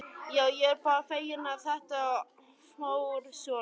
Já, ég er bara feginn að þetta fór svona.